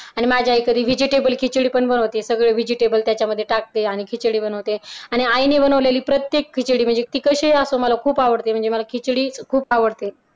आणि माझ्या आई कधी वेजिटेबल खिचडी पण बनवते सगळे व्हेजिटेबल त्याच्यामध्ये टाकते आणि खिचडी बनवते आणि आईने बनवलेली प्रत्येक खिचडी म्हणजे ती कशीही असो मला खूप आवडते म्हणजे मला खिचडी खूप आवडते